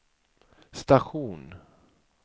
station